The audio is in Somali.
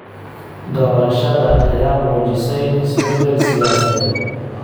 Doorashada ayaa muujisay isbedel siyaasadeed.